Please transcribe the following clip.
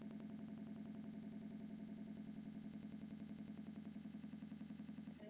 Ég brosti til þeirra.